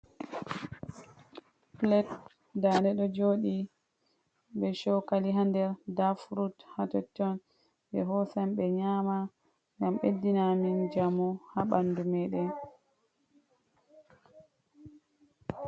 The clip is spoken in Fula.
Pilet nda'de ɗo jodi be chokali ha nder nda frut ha totton. Ɓe hosan ɓe nyama, ngam ɓeddina min jamu ha bandu meden.